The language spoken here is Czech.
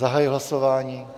Zahajuji hlasování.